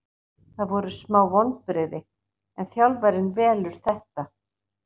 Það voru smá vonbrigði en þjálfarinn velur þetta.